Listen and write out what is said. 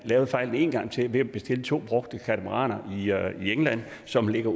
lavede fejlen en gang til ved at bestille to brugte katamaraner i england som ligger